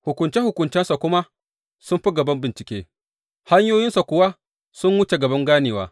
Hukunce hukuncensa kuma su fi gaban bincike, hanyoyinsa kuwa sun wuce gaban ganewa!